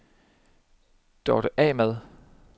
Dorte Ahmad